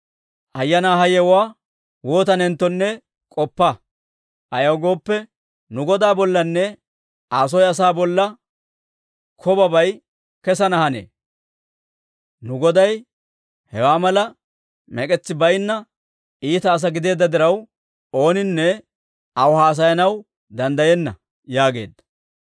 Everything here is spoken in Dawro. Hayanaa ha yewuwaa waatanenttonne k'oppa; ayaw gooppe, nu godaa bollanne Aa soo asaa bolla kobabay kessana hanee. Nu goday hewaa mala mek'etsi baynna iita asaa gideedda diraw, ooninne aw haasayanaw danddayenna» yaageedda.